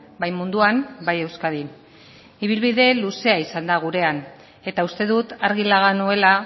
bai munduan bai euskadin ibilbide luzea izan da gurena eta uste dut argi laga nuela